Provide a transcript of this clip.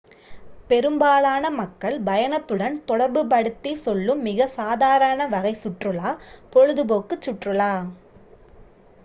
பெரும்பாலான மக்கள் பயணத்துடன் தொடர்பு படுத்திச் செல்லும் மிக சாதாரண வகை சுற்றுலா பொழுதுபோக்குச் சுற்றுலா